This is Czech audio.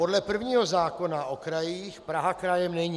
Podle prvního zákona o krajích Praha krajem není.